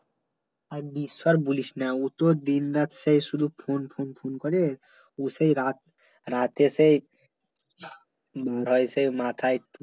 আর বিশ্বের বলিস না ও তো দিন রাত সে শুধু phone phone phone করে ও সেই রাত রাতে সেই বাড়ায়ছে মাথায়